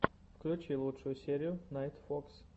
включи лучшую серию найтфокс